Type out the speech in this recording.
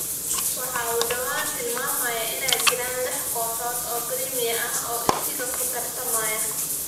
waxa uu dhawaan tilmaamay inay jiraan lix kooxood oo Primia ah oo isaga ku tartamaya.